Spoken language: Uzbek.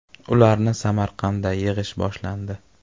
“Ularni Samarqandda yig‘ish boshlandi.